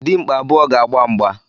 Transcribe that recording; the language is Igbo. Dimkpa abụọ ga-agba mgba